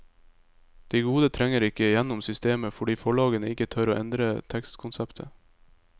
De gode trenger ikke gjennom systemet, fordi forlagene ikke tør å endre tekstkonseptet.